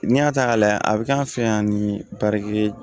N'i y'a ta k'a lajɛ a bɛ k'an fɛ yan ni ye